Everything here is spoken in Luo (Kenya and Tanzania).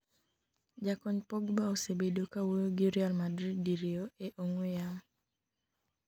jakony Pogba osebedo kawuoyo gi Real Madrid diriyo e ong'we yamo